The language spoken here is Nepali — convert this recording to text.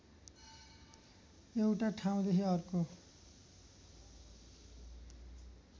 एउटा ठाउँदेखि अर्को